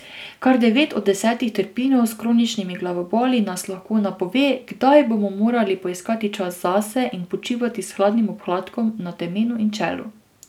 Kar devet od desetih trpinov s kroničnimi glavoboli nas lahko napove, kdaj bomo morali poiskati čas zase in počivati s hladnim obkladkom na temenu in čelu.